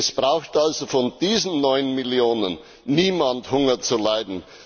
Es braucht also von diesen 9 Millionen niemand Hunger zu leiden.